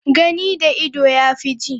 Gani da ido yafi ji.